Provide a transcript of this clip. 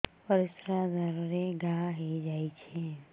ପରିଶ୍ରା ଦ୍ୱାର ରେ ଘା ହେଇଯାଇଛି